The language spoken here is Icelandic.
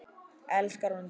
Elskar hún þig?